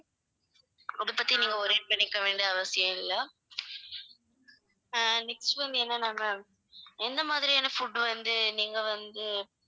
அத பத்தி நீங்க worry பண்ணிக்க வேண்டிய அவசியம் இல்லை அஹ் next வந்து என்னன்னா ma'am எந்த மாதிரியான food வந்து நீங்க வந்து